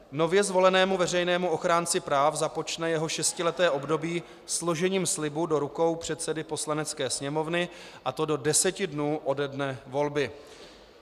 Nově zvolenému veřejnému ochránci práv započne jeho šestileté období složením slibu do rukou předsedy Poslanecké sněmovny, a to do deseti dnů ode dne volby.